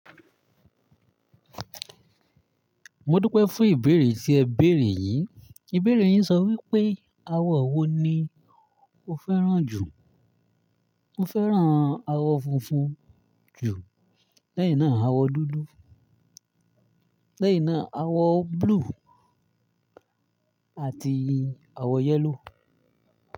Mo dúpẹ́ fún ìbéèrè tí ẹ béèrè yìí. Ìbéèrè yìí sọ wípé, awọ wo ni o fẹ́ràn jù? Mo fẹ́ràn awọ funfun jù lẹ́yìn náà awọ dúdú, lẹ́yìn náà awọ blue àti awọ yellow.